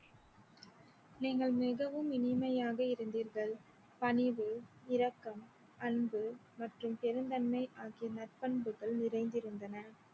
நீங்கள் மிகவும் இனிமையாக இருந்தீர்கள் பணிவு இரக்கம் அன்பு மற்றும் பெருந்தன்மை ஆகிய நற்பண்புகள் நிறைந்திருந்தன